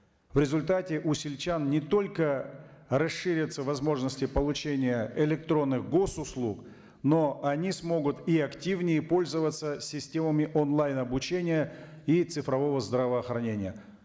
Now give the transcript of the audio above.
в результате у сельчан не только расширятся возможности получения электронных госуслуг но они смогут и активнее пользоваться системами онлайн обучения и цифрового здравоохранения